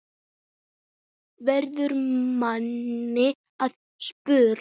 verður manni að spurn.